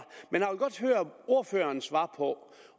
men jeg vil godt høre ordførerens svar på